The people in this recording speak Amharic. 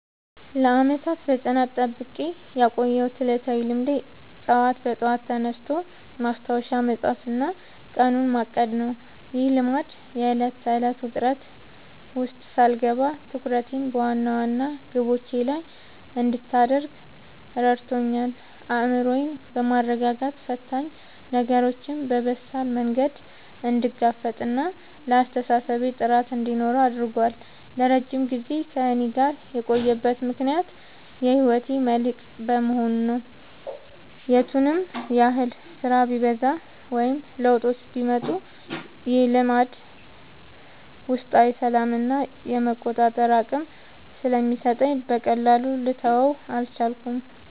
ለዓመታት በጽናት ጠብቄ ያቆየሁት ዕለታዊ ልማዴ ጠዋት በጠዋት ተነስቶ ማስታወሻ መጻፍና ቀኑን ማቀድ ነው። ይህ ልማድ የዕለት ተዕለት ውጥረት ውስጥ ሳልገባ ትኩረቴን በዋና ዋና ግቦቼ ላይ እንድታደርግ ረድቶኛል። አእምሮዬን በማረጋጋት ፈታኝ ነገሮችን በበሳል መንገድ እንድጋፈጥና ለአስተሳሰቤ ጥራት እንዲኖረው አድርጓል። ለረጅም ጊዜ ከእኔ ጋር የቆየበት ምክንያት የህይወቴ መልህቅ በመሆኑ ነው። የቱንም ያህል ስራ ቢበዛ ወይም ለውጦች ቢመጡ፣ ይህ ልማድ ውስጣዊ ሰላምና የመቆጣጠር አቅም ስለሚሰጠኝ በቀላሉ ልተወው አልቻልኩም።